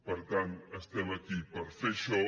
per tant estem aquí per fer això